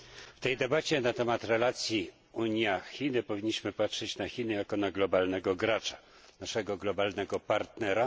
W tej debacie na temat relacji Unia Chiny powinniśmy patrzeć na Chiny jako na globalnego gracza, naszego globalnego partnera.